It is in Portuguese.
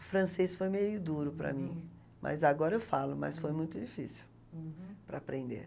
O francês foi meio duro para mim, mas agora eu falo, mas foi muito difícil. Uhum. Para aprender.